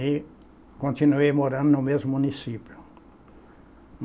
E continuei morando no mesmo município.